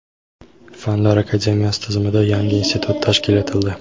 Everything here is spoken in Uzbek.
Fanlar akademiyasi tizimida yangi institut tashkil etildi.